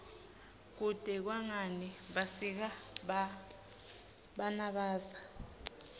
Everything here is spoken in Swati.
kutsi kwngani basika banbza